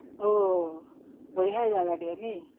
ତ, ବଢିଆ ଜାଗାଟେ ନାଇଁ ହଁ